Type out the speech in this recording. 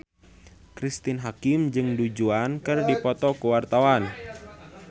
Cristine Hakim jeung Du Juan keur dipoto ku wartawan